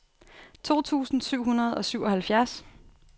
to tusind syv hundrede og syvoghalvfjerds